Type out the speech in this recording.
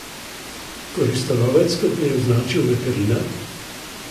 Koristolovec, kot ga je označil veterinar?